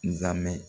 Nzamɛn